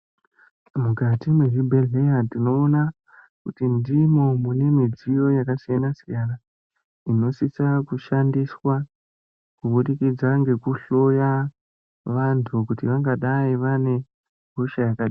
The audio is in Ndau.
Mukati mwezvibhelheya tinoona kuti ndimwo mune midziyo yaksiyanasiyana inosisa kushandiswa kubudikidze ngekunhloya vantu kuti vangadai vane hosha yakadini.